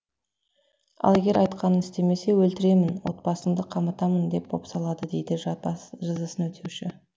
ал егер айтқанын істемесе өлтіремін отбасыңды қаматамын деп бопсалады дейді жазасын өтеуші